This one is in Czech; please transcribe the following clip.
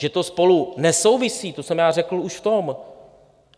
Že to spolu nesouvisí, to jsem já řekl už v tom.